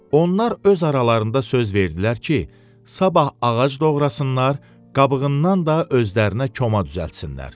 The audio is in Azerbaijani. Onlar öz aralarında söz verdilər ki, sabah ağac doğrasınlar, qabığından da özlərinə koma düzəltsinlər.